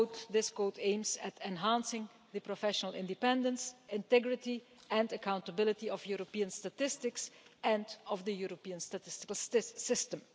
This code aims to enhance the professional independence, integrity and accountability of European statistics and of the European statistical system.